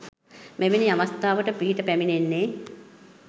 මෙවැනි අවස්ථාවට පිහිට පැමිණෙන්නේ